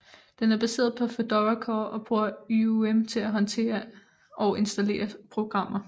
Den er baseret på Fedora Core og bruger YUM til at håndtere og installere programmer